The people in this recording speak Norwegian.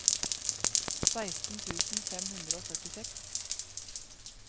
seksten tusen fem hundre og førtiseks